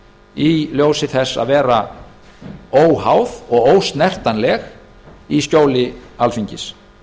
í ljósi þess að vera óháð og ósnertanleg í skjóli alþingis